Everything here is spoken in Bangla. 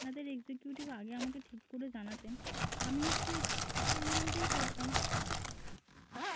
আপনাদের executive আগে আমাকে ঠিক করে জানাতেন আমি নিশ্চয়ই সেই amount দিয়ে করতাম।